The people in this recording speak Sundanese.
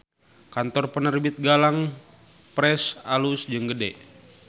Kantor Penerbit Galang Press alus jeung gede